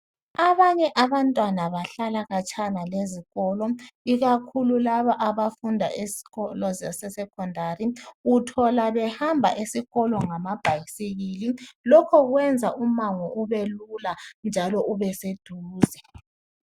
Abanye abantwana bahlala khatshana lezikolo ikakhulu laba abafunda ezikolo zase"Secondary " uthola behamba esikolo ngamabhayisikili lokho kwenza umango ubelula njalo ubeseduze.